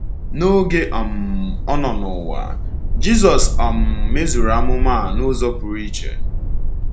N’oge um ọ nọ n’ụwa, Jisọs um mezuuru amụma a n’ụzọ pụrụ iche.